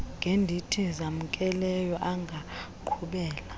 khredithi zamkelweyo angaqhubela